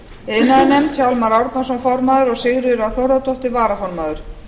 iðnaðarnefnd hjálmar árnason formaður og sigríður a þórðardóttir varaformaður